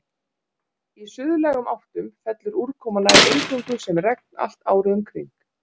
Í suðlægum áttum fellur úrkoma nær eingöngu sem regn allt árið um kring.